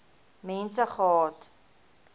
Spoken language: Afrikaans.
mense gehad